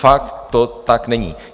Fakt to tak není.